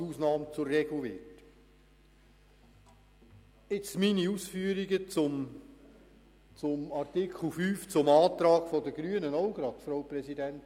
Jetzt meine Ausführungen zum Artikel 50 und dem Antrag der Grünen, wenn das in Ordnung ist, Frau Präsidentin.